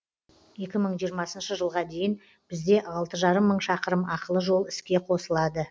екі мың жиырмасыншы жылға дейін бізде алты жарым мың шақырым ақылы жол іске қосылады